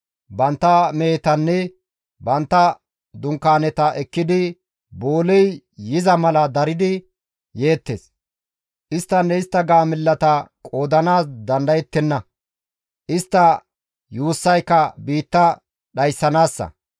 Bantta mehetanne bantta dunkaaneta ekkidi booley yiza mala daridi yeettes; isttanne istta gaamellata qoodanaas dandayettenna; istta yuussayka biitta dhayssanaassa.